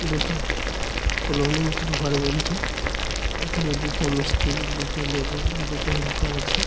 দুটা কলোনী মতো ঘরে বঞ্চে। এখানে দুতো মিস্ত্রি দুতো লেবার আর দুটো হেল্পার আছে।